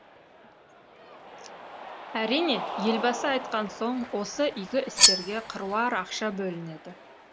әрине елбасы айтқан соң осы игі істерге қыруар ақша бөлінеді